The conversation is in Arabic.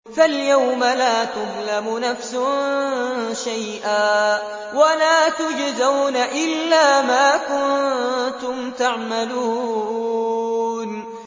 فَالْيَوْمَ لَا تُظْلَمُ نَفْسٌ شَيْئًا وَلَا تُجْزَوْنَ إِلَّا مَا كُنتُمْ تَعْمَلُونَ